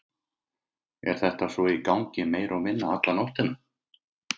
Kristján Már: Er þetta svo í gangi meira og minna alla nóttina?